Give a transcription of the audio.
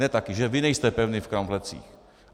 Ne taky, že vy nejste pevný v kramflecích.